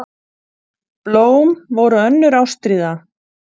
Blóm voru önnur ástríða.